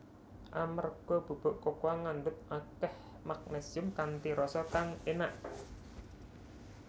Amerga bubuk kokoa ngandhut akèh magnésium kanthi rasa kang énak